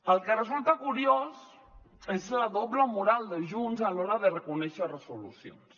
el que resulta curiós és la doble moral de junts a l’hora de reconèixer resolucions